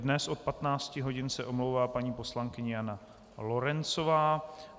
Dnes od 15 hodin se omlouvá paní poslankyně Jana Lorencová.